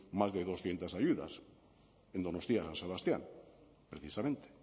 más de doscientos ayudas en donostia san sebastián precisamente